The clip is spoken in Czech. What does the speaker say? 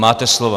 Máte slovo.